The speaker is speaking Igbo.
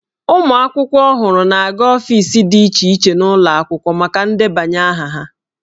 Ụmụ akwụkwọ ọhụrụ na-aga ọfiisi dị iche iche n'ụlọ akwụkwọ maka ndebanye aha ha.